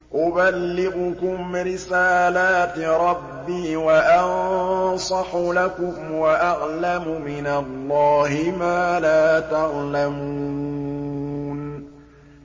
أُبَلِّغُكُمْ رِسَالَاتِ رَبِّي وَأَنصَحُ لَكُمْ وَأَعْلَمُ مِنَ اللَّهِ مَا لَا تَعْلَمُونَ